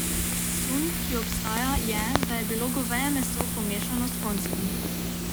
Sum, ki obstaja, je, da je bilo goveje meso pomešano s konjskim.